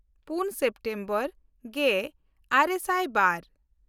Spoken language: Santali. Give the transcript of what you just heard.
ᱯᱩᱱ ᱥᱮᱯᱴᱮᱢᱵᱚᱨ ᱜᱮᱼᱟᱨᱮ ᱥᱟᱭ ᱵᱟᱨ